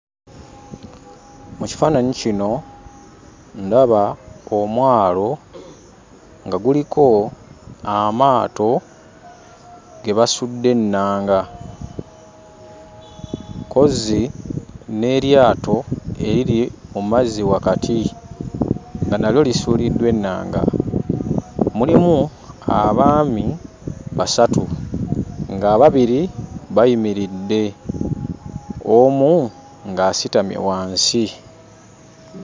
Mu kifaananyi kino, ndaba omwalo nga guliko amaato ge basudde ennanga, kozzi n'eryato eriri mu mazzi wakati nga nalyo lisuuliddwa ennanga. Mulimu abaami basatu, ng'ababiri bayimiridde, omu ng'asitamye wansi.